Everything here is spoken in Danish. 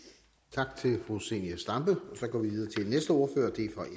tak til fru zenia stampe så går vi